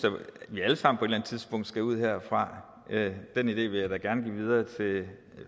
vi alle sammen tidspunkt skal ud herfra den idé vil jeg da gerne give videre til